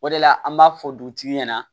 O de la an b'a fɔ dutigi ɲɛna